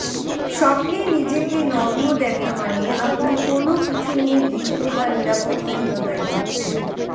স্বপ্নে নিজেকে নগ্ন দেখা মানে আপনি কোনও কিছু নিয়ে ভীত বা নিরাপত্তাহীনতায় ভুগছেন